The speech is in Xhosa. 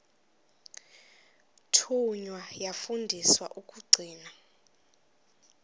thunywa yafundiswa ukugcina